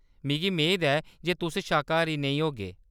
मिगी मेद ऐ जे तुस शाकाहारी नेईं होगे ?